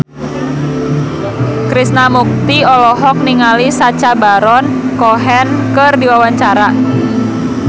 Krishna Mukti olohok ningali Sacha Baron Cohen keur diwawancara